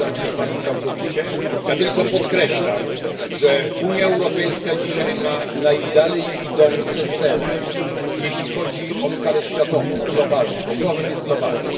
Zgadzam się z panem całkowicie. Ja tylko podkreślam, że Unia Europejska dzisiaj ma najdalej idące cele, jeśli chodzi o skalę światową, globalną, bo problem jest globalny.